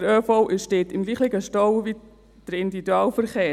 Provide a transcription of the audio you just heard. Der ÖV steht im gleichen Stau wie der Individualverkehr.